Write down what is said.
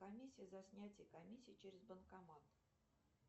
комиссия за снятие комиссия через банкомат